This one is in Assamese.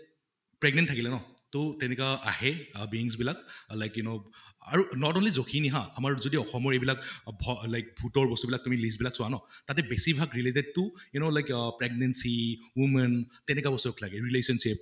pregnant থাকিলে ন তʼ তেনেকা আহে অহ beings বিলাক like you know আৰু not only জখিনী হা আমাৰ যদি অসমৰ এইবিলাক অহ ভ like ভূতৰ বস্তু বিলাক তুমি list বিলাক চোৱা ন তাতে বেছিভাগ related to you know like pregnancy women তেনেকা লাগে relationship